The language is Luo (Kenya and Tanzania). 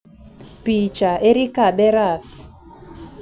Picha: Erika Beras